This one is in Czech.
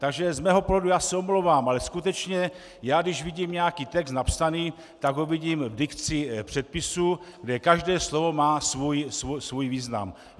Takže z mého pohledu, já se omlouvám, ale skutečně já když vidím nějaký text napsaný, tak ho vidím v dikci předpisu, kde každé slovo má svůj význam.